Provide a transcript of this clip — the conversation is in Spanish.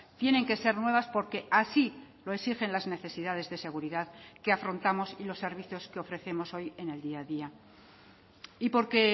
tienen que ser nuevas porque así lo exigen las necesidades de seguridad que afrontamos y los servicios que ofrecemos hoy en el día a día y porque